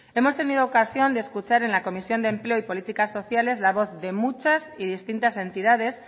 hemos tenido ocasión de escuchar en la comisión de empleo y políticas sociales la voz de muchas y distintas entidades